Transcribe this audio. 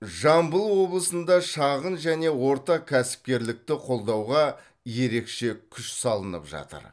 жамбыл облысында шағын және орта кәсіпкерлікті қолдауға ерекше күш салынып жатыр